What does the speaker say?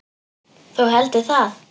Þú heldur það?